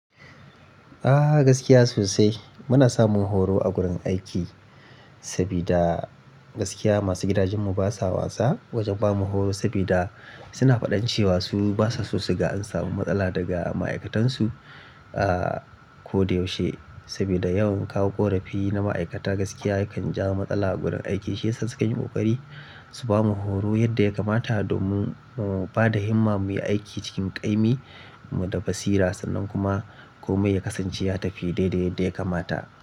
Ah gaskiya sosai muna samun horo a gurin aiki sabida gaskiya masu gidajen mu basa wasa wajen bamu horo sabida suna faɗan cewa su basa sosai ga in samu matsala daga ma'aikatan su ah ko da yaushe sabida yawan kawo ƙorafi na ma'aikata gaskiya kan jawo matsala a gurin aiki shi yasa suka yi ƙoƙari su bamu horo yadda ya kamata domin mu bada himma muyi aiki cikin ƙaimi mu da basira sannan kuma komai ya kasance ya tafi dai dai yadda ya kamata.